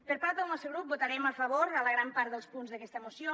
per part del nostre grup votarem a favor a la gran part dels punts d’aquesta moció